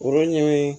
Olu ɲɛɲini